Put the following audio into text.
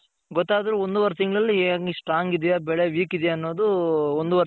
ಗೊತ್ತಾದ್ರೂ ಒಂದು ವರ್ ತಿಂಗಳಲ್ಲಿ ಏನ್ Strong ಇದ್ಯ ಬೆಳೆ weak ಇದ್ಯ ಅನ್ನೋದು ಒಂದು ವರ್